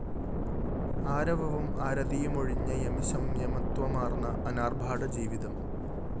ആരവവും ആരതിയുമൊഴിഞ്ഞ യമിസംയമത്വമാര്‍ന്ന അനാര്‍ഭാട ജീവിതം